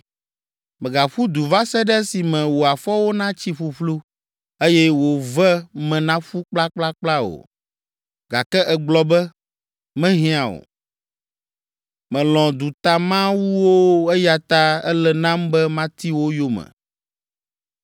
Mègaƒu du va se ɖe esime wò afɔwo natsi ƒuƒlu, eye wò ve me naƒu kplakplakpla o. Gake, ègblɔ be, ‘Mehiã o; melɔ̃ dutamawuwo eya ta ele nam be mati wo yome.’